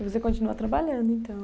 E você continua trabalhando, então?